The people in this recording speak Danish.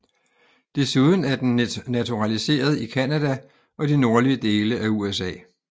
Desuden er den naturaliseret i Canada og de nordlige dele af USA